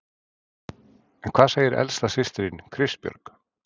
En hvað segir elsta systirin, Kristbjörg?